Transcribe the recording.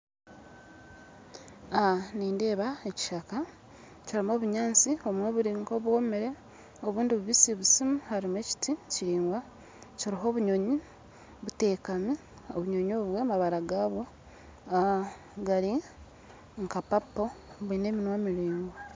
Nindeeba ekishaka kirimu obunyaatsi obumwe buri nk'obwomire obundi bubisibisi harimu ekiti kiraingwa kiriho obunyonyi buteekami, obunyonyi obwo amabara gabwo gari nka papo bwine eminwa miraingwa.